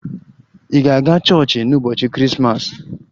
Ị ga-aga chọọchị n'ụbọchị Krismas?